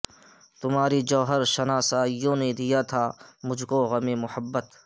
تمہاری جوہر شناسائیوں نے دیا تھا مجھ کو غم محبت